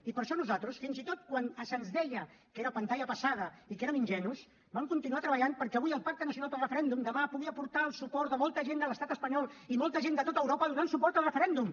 i per això nosaltres fins i tot quan se’ns deia que era pantalla passada i que érem ingenus vam continuar treballant perquè avui el pacte nacional pel referèndum demà pugui aportar el suport de molta gent de l’estat espanyol i molta gent de tot europa al referèndum